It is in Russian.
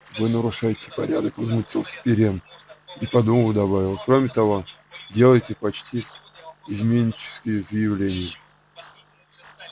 вы нарушаете порядок возмутился пиренн и подумав добавил кроме того делаете почти изменнические заявления